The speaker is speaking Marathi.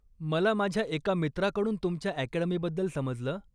मला माझ्या एका मित्राकडून तुमच्या अकॅडमीबद्दल समजलं.